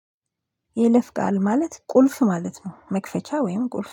የይለፍ ቃል ማለት ቁልፍ ማለት ነው። መክፈቻ ወይም ቁልፍ